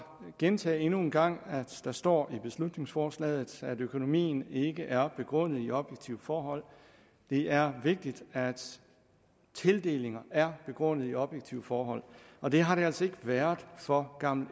gentage endnu en gang at der står i beslutningsforslaget at økonomien ikke er begrundet i objektive forhold det er vigtigt at tildelinger er begrundet i objektive forhold og det har det altså ikke været for gammel